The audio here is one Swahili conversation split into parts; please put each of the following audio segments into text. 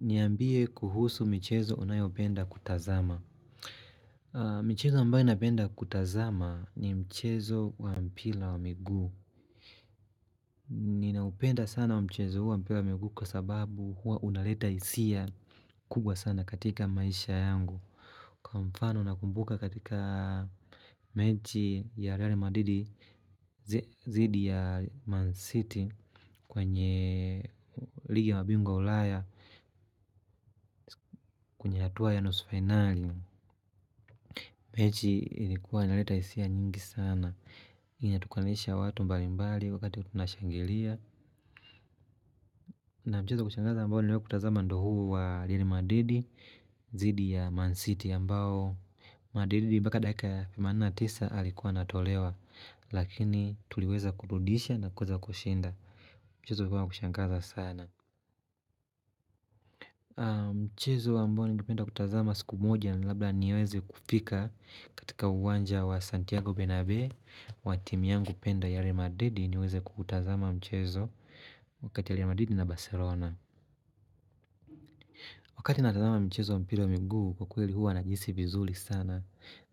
Niambie kuhusu michezo unayopenda kutazama. Michezo ambayo napenda kutazama ni mchezo wa mpila wa miguu. Ninaupenda sana wa mchezo wa mpila wa miguu kwa sababu huwa unaleta hisia kubwa sana katika maisha yangu. Kwa mfano nakumbuka katika mechi ya Real Madridi zidi ya Man City kwenye ligi ya mabingwa wa ulaya kwenye hatua ya nusu fainali. Mechi ilikuwa inaleta hisia nyingi sana. Inatukanisha watu mbalimbali wakati tunashangilia. Na mchezo wa kushangaza ambao niliwahi kutazama ndo huu wa Real Madridi zidi ya Man City ambao Madridi mpaka dakika ya themanini na tisa alikuwa anatolewa. Lakini tuliweza kurudisha na kuweza kushinda. Mchezo ulikuwa wa kushangaza sana. Mchezo ambao ningependa kutazama siku moja, labda niweze kufika katika uwanja wa Santiago Benabe. Wa timu yangu penda Real Madrid niweze kutazama mchezo wa kati ya Real Madrid na Barcelona. Wakati natazama mchezo wa mpila wa miguu kwa kweli huwa nahisi vizuli sana.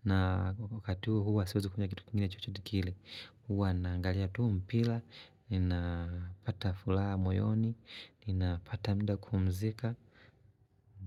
Na wakati huo huwa siwezi kunywa kitu kingine chochote kile. Huwa naangalia tu mpila, ninapata fulaha moyoni, ninapata mda kupumzika.